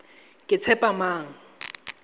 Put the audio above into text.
ketshepamang